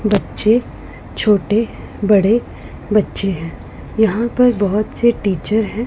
बच्चे छोटे बड़े बच्चे हैं यहां पे बहुत से टीचर हैं।